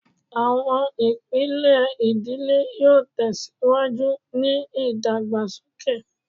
Awọn ipilẹ idile yoo tẹsiwaju ni idagbasoke